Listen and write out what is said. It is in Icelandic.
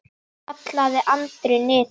kallaði Andri niður.